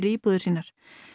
íbúðir sínar